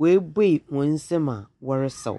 Webue hɔn nsɛm a ɔresaw.